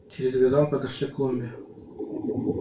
через газон подошли к клумбе